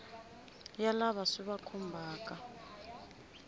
ya lava swi va khumbhaka